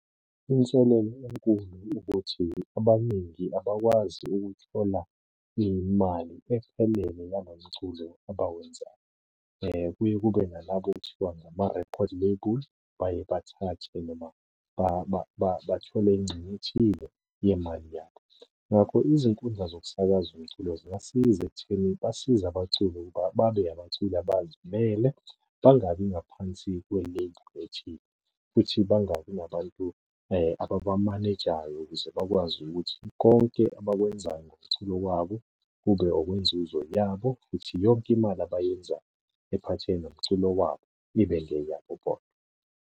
Inselelo enkulu ukuthi abaningi abakwazi ukuthola imali ephelele ngalo mculo abawenzayo. Kuye kube nalabo ekuthiwa ngama-record label, baye bathathe noma bathole ingxenye ethile yemali yakho. Ngakho izinkundla zokusakaza umculo zingasiza ekutheni basiza abaculi ukuba babe abaculi abazimele, bangabi ngaphansi kwe-label ethile, futhi bangabi nabantu ababamanejayo ukuze bakwazi ukuthi konke abakwenzayo ngomculo wabo, kube okwenzuzo yabo futhi yonke imali abayenzayo ephathelene nomculo wabo ibe ngeyabo bodwa.